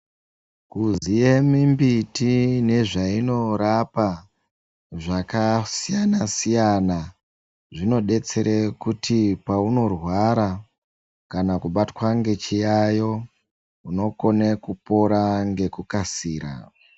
Kuziya mimbiti nezvainorapa zvakasiyana siyana zvinodetsera kuti paunorwara kana kubatwa nechiyayo unokona kupora nekukasira.